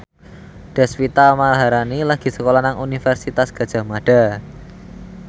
Deswita Maharani lagi sekolah nang Universitas Gadjah Mada